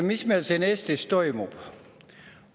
Mis meil siin Eestis toimub?